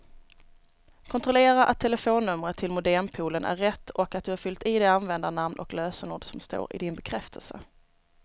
Kontrollera att telefonnumret till modempoolen är rätt och att du har fyllt i det användarnamn och lösenord som står i din bekräftelse.